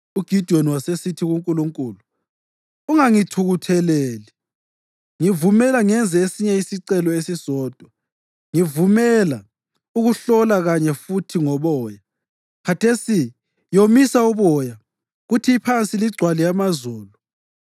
UGidiyoni wasesithi kuNkulunkulu, “Ungangithukutheleli. Ngivumela ngenze esinye isicelo esisodwa. Ngivumela ukuhlola kanye futhi ngoboya. Khathesi yomisa uboya kuthi iphansi ligcwale amazolo.”